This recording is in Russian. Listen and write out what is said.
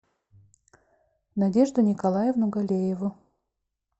надежду николаевну галееву